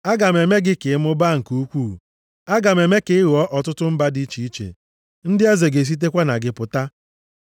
Aga m eme gị ka ị mụbaa nke ukwuu. Aga m eme ka ị ghọọ ọtụtụ mba dị iche iche, ndị eze ga-esitekwa na gị pụta.